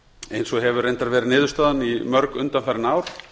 eins og hefur reyndar verið niðurstaðan í mörg undanfarin ár